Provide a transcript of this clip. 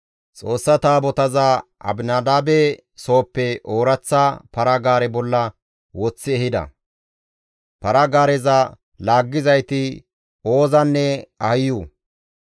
Xoossa Taabotaza Abinadaabe sooppe ooraththa para-gaare bolla woththi ehida; para-gaareza laaggizayti Oozanne Ahiyo.